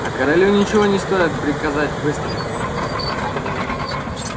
а королю ничего не стоит приказать выстрелить